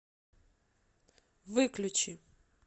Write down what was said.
выключи